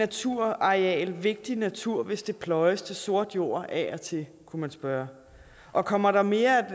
naturareal vigtig natur hvis det pløjes til sort jord af og til kunne man spørge og kommer der mere